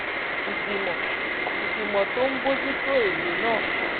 ìgbìmọ ìgbìmọ tó ń bójú tó ètò náà ń